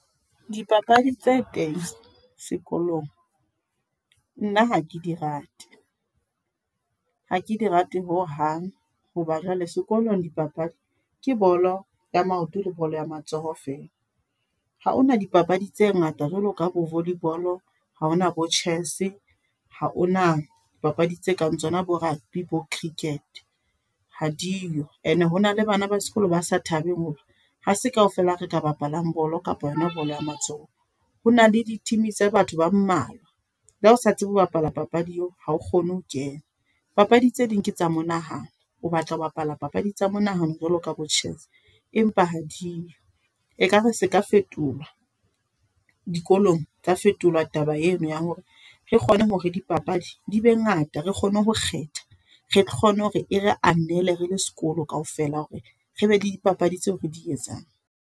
Dipapadi tse teng, sekolong. Nna hake di rate. Ha ke di rate ho hang. Hoba jwale sekolong di papadi, ke bolo ya maoto le bolo ya matsoho fela. Ha hona dipapadi tse ngata jwalo ka bo volley ball. Ha hona bo chess, ha hona dipapadi tse kang tsona bo rugby, bo cricket hadiyo. E ne ho na le bana ba sekolo ba sa thabeng hore, ha se kaofela re ka bapalang bolo, kapa yona bolo ya matsoho. Hona le di-team tsa batho ba mmalwa. Le ha o sa tsebe ho bapala papadi eo, ha o kgone ho kena. Papadi tse ding ke tsa monahano. O batla ho bapala papadi tsa monahano jwalo ka bo chess. Empa hadio, ekare se ka fetolwa. Dikolong tsa fetolwa taba eno ya hore re kgone hore di papadi di be ngata, re kgone ho kgetha. Re kgone hore e re anele, re le sekolo kaofela hore re be le di papadi tseo re di etsang.